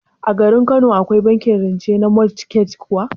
A garin Kano Akwai bankin rance na motgej kuwa?